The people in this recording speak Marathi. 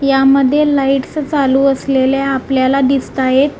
यामध्ये लाइट्स चालू असलेल्या आपल्याला दिसताहेत.